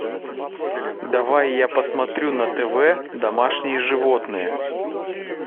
давай я посмотрю на тв домашние животные